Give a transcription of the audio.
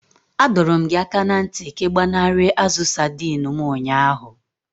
Adọọrọ m gị aka na ntị ka ị gbanarị azu saidini m ụnyaahụ!